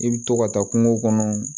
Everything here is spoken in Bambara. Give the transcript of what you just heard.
I bɛ to ka taa kungo kɔnɔ